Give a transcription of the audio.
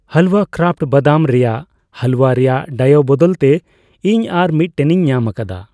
ᱦᱟᱞᱣᱟ ᱠᱨᱟᱯᱷᱴ ᱵᱟᱫᱟᱢ ᱨᱮᱱᱟᱜ ᱦᱟᱞᱩᱣᱟ ᱨᱮᱭᱟᱜ ᱰᱟᱭᱚᱩ ᱵᱚᱫᱚᱞ ᱛᱮ ᱤᱧ ᱟᱨ ᱢᱤᱛᱴᱮᱱᱤᱧ ᱧᱟᱢᱟᱠᱟᱫᱟ ᱾